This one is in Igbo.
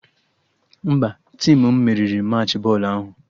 Mba, tim m meriri Machị bọọlụ ahụ